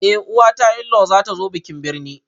Eh uwata inlayw zatazo bikin birne